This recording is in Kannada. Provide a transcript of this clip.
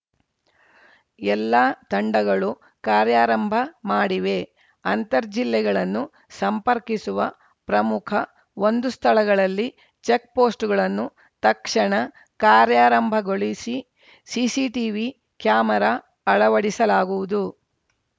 ಎಲ್ಲ ತಂಡಗಳು ಕಾರ್ಯಾರಂಭ ಮಾಡಿವೆ ಅಂತರ್‌ ಜಿಲ್ಲೆಗಳನ್ನು ಸಂಪರ್ಕಿಸುವ ಪ್ರಮುಖ ಒಂದು ಸ್ಥಳಗಳಲ್ಲಿ ಚೆಕ್‌ಪೋಸ್ಟ್‌ಗಳನ್ನು ತಕ್ಷಣ ಕಾರ್ಯಾರಂಭಗೊಳಿ ಸಿಸಿಟಿವಿ ಕ್ಯಾಮೆರಾ ಅಳವಡಿಸಲಾಗುವುದು